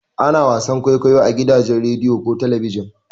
Ana wasan kwaikwayo a gidajen rediyo ko talabijin.